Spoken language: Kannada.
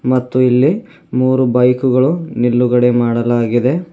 ಮತ್ತು ಇಲ್ಲಿ ಮೂರು ಬೈಕುಗಳು ನಿಲ್ಲುಗಡೆ ಮಾಡಲಾಗಿದೆ.